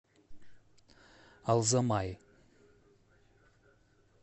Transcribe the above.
алзамай